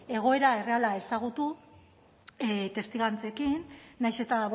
egoera erreala ezagutu testigantzekin nahiz eta